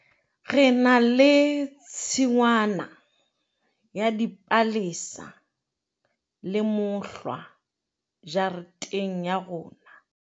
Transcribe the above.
re na le tshingwana ya dipalesa le mohlwa jareteng ya rona